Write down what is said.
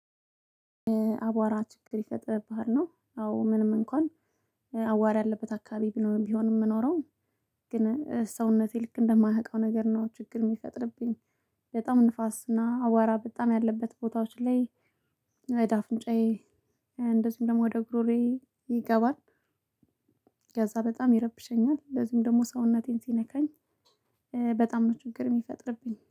አቧራ ችግር ይፈጥርብሃል ነው? አዎ ምንም እንኳን አቧራ ያለበት አካባቢ ቢሆንም የምኖረው ግን ሰውነቴ ልክ እንደማያቀው ነገር ነው። ችግር የሚፈጥርብኝ። በጣም ንፋስ እና አቧራ በጣም ያለበት ቦታዎች ላይ ወደአፍንጫዬ እንደዚሁም ደግሞ ወደ ጉሮሮዬ ይገባል። ከዛ በጣም ይረብሸኛል። እንደዚሁም ደግሞ ሰውነቴን ሲነካኝ በጣም ነው ችግር የሚፈጥርብኝ